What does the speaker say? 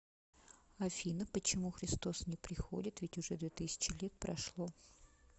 афина почему христос не приходит ведь уже две тысячи лет прошло